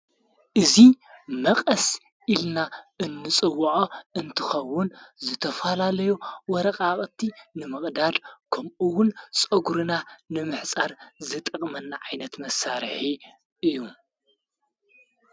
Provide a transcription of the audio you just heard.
እዙ መቐስ ኢልና እንጽውዖ እንትኸውን ዝተፋላለይ ወረቓቕቲ ንምቕዳድ ከምኡውን ጸጕርና ንምሕፃር ዝጠቕመና ዓይነት መሳርሒ እዩ።